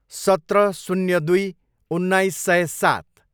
सत्र, शून्य दुई, उन्नाइस सय सात